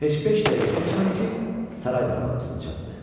Heç beş dəqiqə keçmədi ki, saray darvazasına çatdı.